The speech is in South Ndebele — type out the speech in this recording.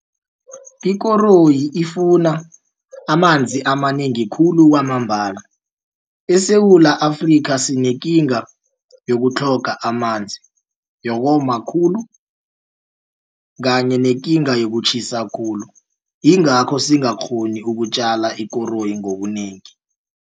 Ikoroyi ifuna amanzi amanengi khulu kwamambala eSewula Afrika sinekinga yokutlhoga amanzi yokoma khulu kanye nekinga yokutjhisa khulu. Yingakho singakghoni ukutjala ikoroyi ngobunengi.